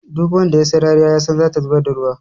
Duk wanda ya sai rariya yasan zata zubar da ruwa.